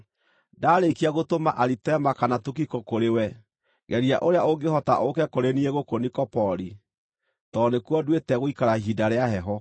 Ndaarĩkia gũtũma Aritema kana Tukiko kũrĩwe, geria ũrĩa ũngĩhota ũũke kũrĩ niĩ gũkũ Nikopoli, tondũ nĩkuo nduĩte gũikara ihinda rĩa heho.